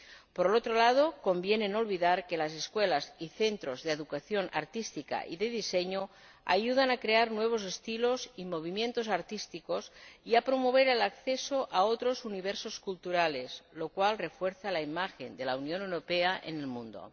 Por otro lado, conviene no olvidar que las escuelas y los centros de educación artística y de diseño ayudan a crear nuevos estilos y movimientos artísticos, y a promover el acceso a otros universos culturales, lo cual refuerza la imagen de la Unión Europea en el mundo.